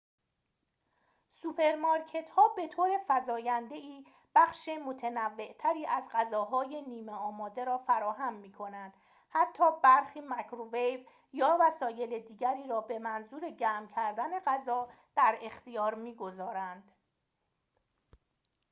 سوپرمارکت‌ها به‌طور فزاینده‌ای بخش متنوع‌تری از غذاهای نیمه‌آماده را فراهم می‌کنند حتی برخی مایکروویو یا وسایل دیگری را به منظور گرم کردن غذا در اختیار می‌گذارند